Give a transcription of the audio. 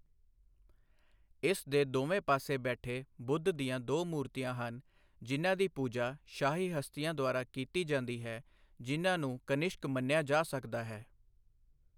ਇਸ ਦੇ ਦੋਵੇਂ ਪਾਸੇ ਬੈਠੇ ਬੁੱਧ ਦੀਆਂ ਦੋ ਮੂਰਤੀਆਂ ਹਨ, ਜਿਨ੍ਹਾਂ ਦੀ ਪੂਜਾ ਸ਼ਾਹੀ ਹਸਤੀਆਂ ਦੁਆਰਾ ਕੀਤੀ ਜਾਂਦੀ ਹੈ, ਜਿਨ੍ਹਾਂ ਨੂੰ ਕਨਿਸ਼ਕ ਮੰਨਿਆ ਜਾ ਸਕਦਾ ਹੈ।